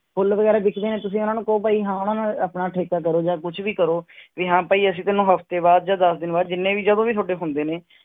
ਫੁੱਲ ਵਗ਼ੈਰਾ ਵਿੱਕਦੇ ਨੇ ਤੁਸੀਂ ਉਹਨਾਂ ਨੂੰ ਕਹੋ ਭਾਈ ਹਾਂ ਉਹਨਾਂ ਨਾਲ ਆਪਣਾ ਠੇਕਾ ਕਰੋ ਜਾਂ ਕੁਛ ਵੀ ਕਰੋ ਵੀ ਹਾਂ ਭਾਈ ਅਸੀਂ ਤੈਨੂੰ ਹਫ਼ਤੇ ਬਾਅਦ ਜਾਂ ਦਸ ਦਿਨ ਬਾਅਦ ਜਿੰਨੇ ਵੀ ਜਦੋਂ ਵੀ ਤੁਹਾਡੇ ਹੁੰਦੇ ਨੇ,